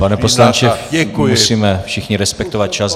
Pane poslanče, musíme všichni respektovat čas.